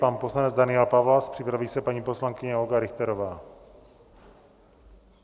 Pan poslanec Daniel Pawlas, připraví se paní poslankyně Olga Richterová.